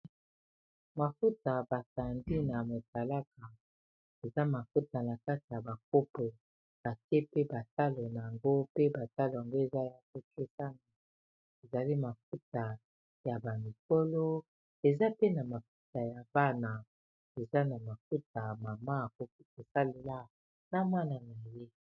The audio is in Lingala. Mafuta basandi na motalaka eza mafuta na kati ya bakopo batie pe batalo na yango pe batalo ango eza ya kotesami ezali mafuta ya bamikolo eza pena mafuta ya bana eza na mafuta mama ko kosalela na mwana na ye